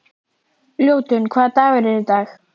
Ljótunn, hvaða dagur er í dag?